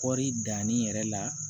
Kɔɔri danni yɛrɛ la